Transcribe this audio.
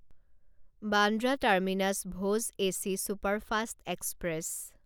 Bandra terminus Bhuj AC superfast express